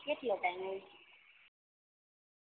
કેટલો ટાઇમ હોય